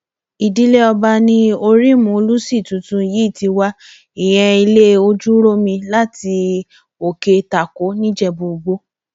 ìdílé ọba ni orím olùṣí tuntun yìí ti wá ìyẹn ilé ojúròmi láti òkè tako nìjẹbúìgbò